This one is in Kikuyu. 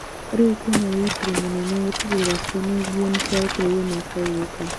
Rĩu kwĩna wĩrutĩri mũnene gũtigĩrĩra ciana ingĩ nĩciarekererio miaka ĩgũka